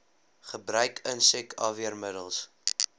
gebruik insek afweermiddels